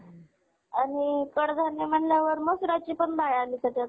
आणि कडधान्य मसूराची पण भाजी आली त्याच्यात.